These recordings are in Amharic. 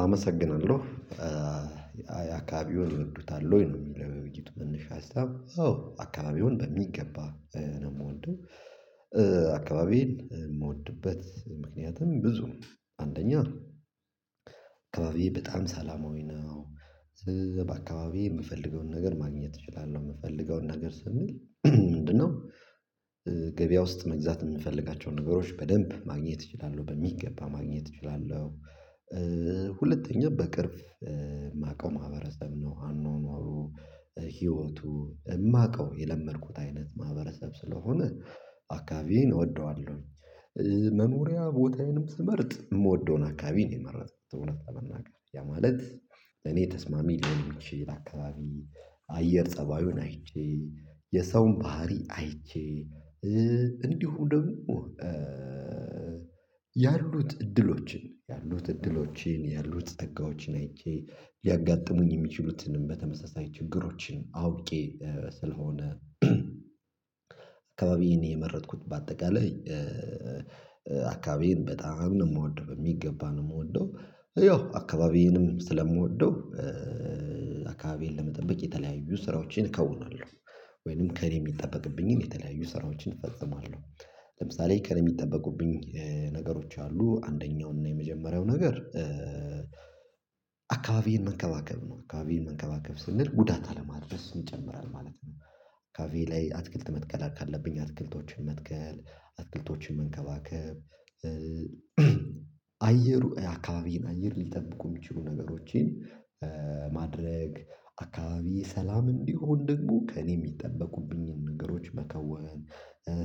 አመሰግናለሁ። የአካባቢውን ይወዱታል ወይ? ነው የሚለው የውይይቱ መነሻ ሀሳብ አዎ አካባቢውን በሚገባ ነው የምወደው። አካባቢዬን የምወድበት ምክንያቱም ብዙ ነው አንደኛ አካባቢዬ በጣም ሰላማዊ ነው። በአካባቢዬ የምፈልገውን ነገር ማግኘት እችላለሁ የምፈልገውን ነገር ስምል ምንድነው ገበያ ውስጥ መግዛት የምንፈልጋቸውን ነገሮች በደንብ ማግኘት እችላለሁ በሚገባ ማግኘት እችላለሁ። ሁለተኛው በቅርብ የማውቀው ማህበረሰብ ነው አኗኗሩ ህይወቱ የማውቀው የለመድኩት አይነት ማህበረሰብ ስለሆነ አካባቢዬን እወደዋለሁኝ። መኖሪያ ቦታዬንም ስመርጥ የምወደውን አካባቢ ነው የመረጠው እውነት ለመናገር ያ ማለት ለኔ ተስማሚ ሊሆን ይችላል። አካባቢ አየር ፀባዩን አይቼ የሰውን ባህሪ አይቼ እንዲሁ ደግሞ ያሉት እድሎችን ያሉት እድሎችን ያሉት ጸጋዎችን አይቼ ሊያጋጥሙኝ የሚችሉትንም በተመሳሳይ ችግሮችን አውቄ ስለሆነ። አካባቢዬን የመረጥኩት በአጠቃላይ አካባቢዬን በጣም ነው የምወደው የሚገባ ነው የምወደው ያው አካባቢዬንም ስለምወደው። አካባቢዬን ለመጠበቅ የተለያዩ ስራዎችን ከውናለሁ ወይንም ከእኔ የሚጠበቅብኝን የተለያዩ ስራዎችን እፈጽማለሁ። ለምሳሌ ከኔ የሚጠበቁብኝ ነገሮች አሉ አንደኛውና የመጀመሪያው ነገር አካባቢን መንከባከብ ነው አካባቢን መንከባከብ ስንል ጉዳት አለማድረስ እንጨምራለን ማለት ነው። አካባብዬ ላይ አትክልት መትከል ካለብኝ አትክልቶችን መትከል አትክልቶችን መንከባከብ። አየሩ የአካባቢን አየር ሊጠብቁ የሚችሉ ነገሮችን ማድረግ አካባቢ ሰላም እንዲሆን ደግሞ ከእኔ የሚጠበቁብኝን ነገሮች መከወን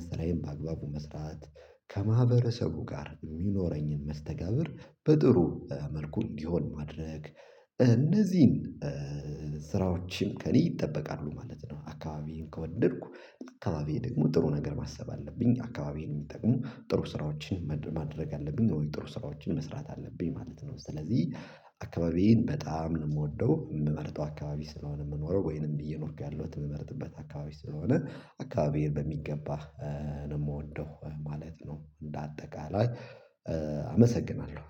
ስራዬን በአግባቡ መስራት። ከማህበረሰቡ ጋር የሚኖረኝን መስተጋብር በጥሩ መልኩ እንዲሆን ማድረግ እነዚህን ስራዎችን ከእኔ ይጠበቃሉ ማለት ነው። አካባቢዬን ከወደድኩ ለአካባቢዬ ደግሞ ጥሩ ነገር ማሰብ አለብኝ አካባቢዬን የሚጠቅሙ ጥሩ ስራዎችን ማድረግ አለብኝ ነው ጥሩ ስራዎችን መስራት አለብኝ ማለት ነው። ስለዚህ አካባቢዬን በጣም ነው የምወደው የምመርጠው አካባቢ ስለሆነ የምኖረው ወይንም እየኖርኩ ያለሁት የምመርጥበት አካባቢ ስለሆነ አካባቢዬን በሚገባ ነው የምወደው ማለት ነው። እንደ አጠቃላይ አመሰግናለሁ